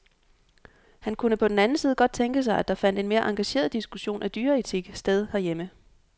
Han kunne på den anden side godt tænke sig, at der fandt en mere engageret diskussion af dyreetik sted herhjemme.